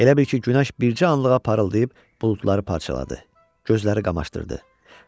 Elə bil ki, günəş bircə anlığa parıldayıb buludları parçaladı, gözləri qamaşdırdı.